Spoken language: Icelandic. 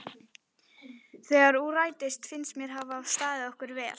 Þegar úr rætist finnst mér við hafa staðið okkur vel.